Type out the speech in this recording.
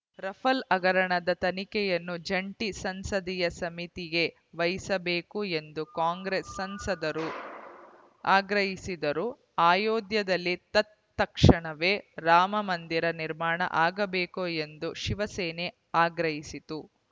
ruffle ಹಗರಣದ ತನಿಖೆಯನ್ನು ಜಂಟಿ ಸಂಸದೀಯ ಸಮಿತಿಗೆ ವಹಿಸಬೇಕು ಎಂದು ಕಾಂಗ್ರೆಸ್‌ ಸಂಸದರು ಆಗ್ರಹಿಸಿದರೆ ಅಯೋಧ್ಯೆಯಲ್ಲಿ ತತ್‌ಕ್ಷಣವೇ ರಾಮಮಂದಿರ ನಿರ್ಮಾಣ ಆಗಬೇಕು ಎಂದು ಶಿವಸೇನೆ ಆಗ್ರಹಿಸಿತು